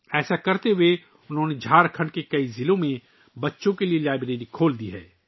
یہ کرتے ہوئے ، انہوں نے جھارکھنڈ کے کئی اضلاع میں بچوں کے لئے لائبریریاں کھولی ہیں